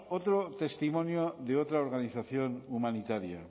otro testimonio de otra organización humanitaria